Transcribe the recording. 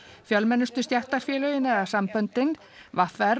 fjölmennustu stéttarfélögin eða samböndin v r